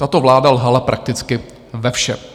Tato vláda lhala prakticky ve všem.